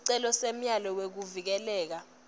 sicelo semyalelo wekuvikeleka